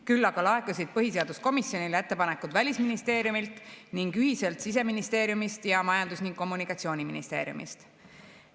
Küll aga laekusid põhiseaduskomisjonile ettepanekud Välisministeeriumilt ning ühiselt Siseministeeriumist ning Majandus‑ ja Kommunikatsiooniministeeriumist.